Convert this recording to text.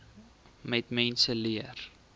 net mense leer